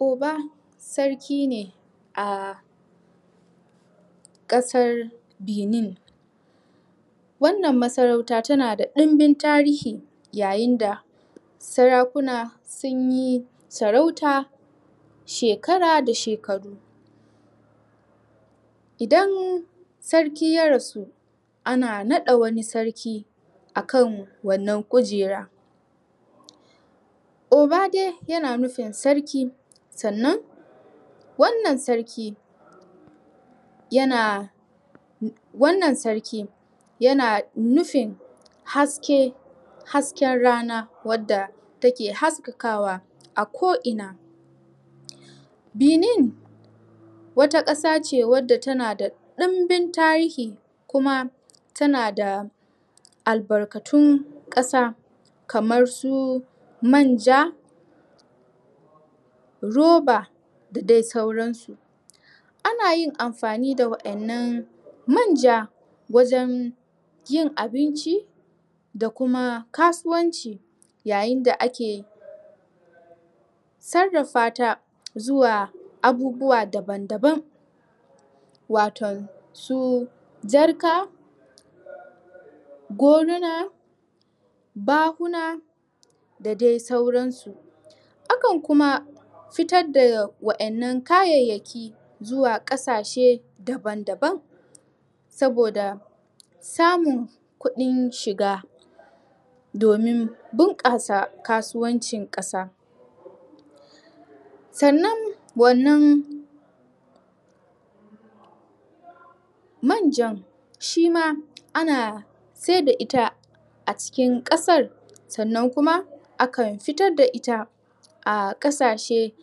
Uba sarki ne a... ƙasar benin Wannan ma sarauta tana da ɗinbin tarihi yayin da Sarakuna sun yi sarauta...shekara da shekaru Idan sarki ya rasu, ana naɗa wani sarki a kan wannan kujera Uba dai yana nufin sarki Sannan wannan sarki Yana Wannan sarki yana nufin haske Hasken rana wadda take haskakawa ko ina Benin, wata ƙasa ce wadda tana da ɗunbin tarihi kuma tana da Albarkatun ƙasa Kamar su manja Roba da dai sauran su Ana yin amfani da waɗannan manja wajen yin abinci Da kuma kasuwanci yayin da ake Sarrafa ta zuwa abubuwa daban daban Waton su jarka Goruna Bahuna Da dai sauran su Akan kuma Fitar da waɗannan kayayaki Zuwa ƙasashe daban daban Saboda Samin kuɗin shiga Domin bunƙasa kasuwancin ƙasa Sannan wannan Manjan shi ma ana saida ita a cikin ƙasar, sannan kuma akan fitar da ita A ƙasashe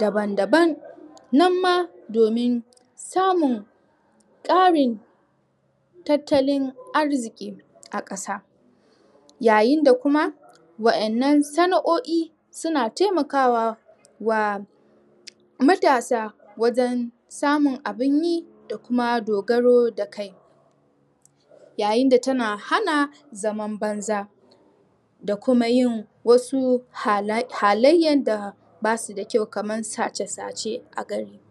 daban daban, nan ma domin samun ƙarin Tattalin arziki a ƙasa Yayin da kuma waɗannan sana'o'i, suna taimakawa wa Matasa wajen samun abun yi da kuma dogaro da kai Yayin da tana hana zaman banza Da kuma yin wasu halenya da basu da kyau kaman sace sace a gari.